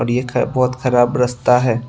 ये बहुत खराब रस्ता है।